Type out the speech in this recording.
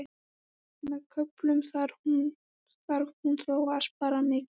Með köflum þarf hún þó að spara mikið.